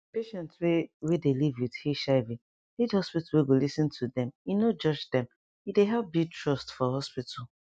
patients wey wey dey live with hiv need hospital we go lis ten to dem e no judge dem e dey help build trust for hospital